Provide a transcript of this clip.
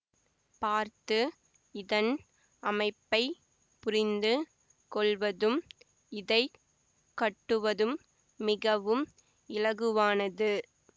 பார்த்து இதன் அமைப்பை புரிந்து கொள்வதும் இதை கட்டுவதும் மிகவும் இலகுவானது